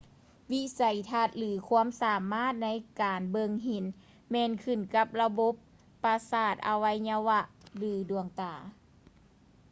ວິໄສທັດ ຫຼື ຄວາມສາມາດໃນການເບິ່ງເຫັນແມ່ນຂຶ້ນກັບລະບົບປະສາດອະໄວຍະວະ ຫຼື ດວງຕາ